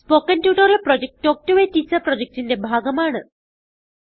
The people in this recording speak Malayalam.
spoken tutorial project talk to a teacher പ്രൊജക്റ്റിന്റെ ഭാഗമാണ്